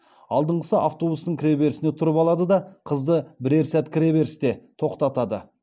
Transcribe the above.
алдыңғысы автобустың кіреберісіне тұрып алады да қызды бірер сәт кіреберісте тоқтатады